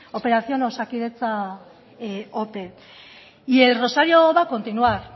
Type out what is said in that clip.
operación osakidetza ope y el rosario va a continuar